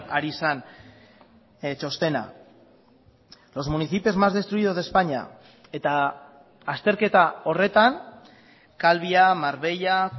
ari zen txostena los municipios más destruidos de españa eta azterketa horretan calvia marbella